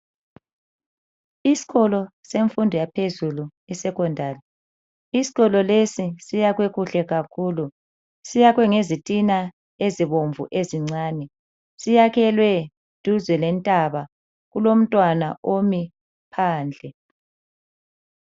Isikolo semfundo yaphezulu eSecondary, isikolo lesi siyakhwe kuhle kakhulu. Siyakhwe ngezitina ezibomvu ezincane. Siyakhelwe duze lentaba. Kulomntwana omi phandle.